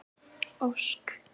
Ósk